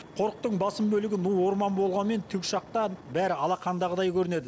қорықтың басым бөлігі ну орман болғанымен тікұшақтан бәрі алақандағыдай көрінеді